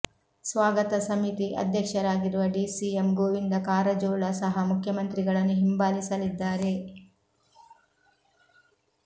ಸ್ವಾಗತ ಸಮಿತಿ ಅಧ್ಯಕ್ಷರಾಗಿರುವ ಡಿಸಿಎಂ ಗೋವಿಂದ ಕಾರಜೋಳ ಸಹ ಮುಖ್ಯಮಂತ್ರಿಗಳನ್ನು ಹಿಂಬಾಲಿಸಲಿದ್ದಾರೆ